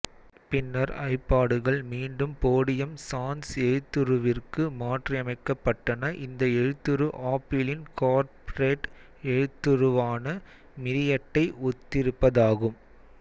பின்னர் ஐபாடுகள் மீண்டும் போடியம் சான்ஸ் எழுத்துருவிற்கு மாற்றியமைக்கப்பட்டனஇந்த எழுத்துரு ஆப்பிளின் கார்ப்பரேட் எழுத்துருவான மிரியட்டை ஒத்திருப்பதாகும்